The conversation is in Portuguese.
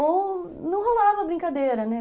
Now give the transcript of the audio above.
Ou não rolava brincadeira, né?